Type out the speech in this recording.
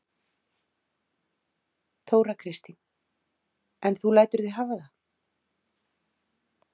Þóra Kristín: En þú lætur þig hafa það?